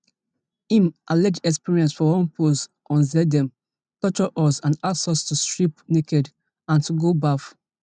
im alleged experience for one post on xdem torture us and ask us to strip naked and to go baff